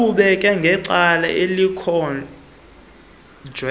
uqhubeke ngecala elikhonjwe